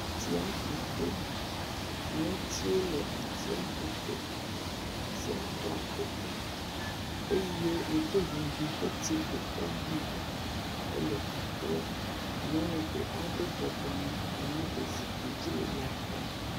Atsiaƒu to, netiwo le atiaƒu to, atiaƒu keke eye ŋkuŋuŋu ƒe tsiƒuƒe hã le teƒea. Nyɔnu ɖe aɖe bɔbɔ nɔ anyi ɖe zikpui dzi le ya xɔm.